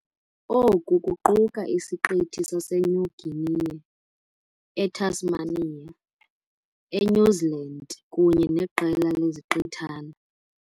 Oku kuquka isiqithi sase saseNew Guinea, eTasmania, eNew Zealand kunye neqela leziqithana.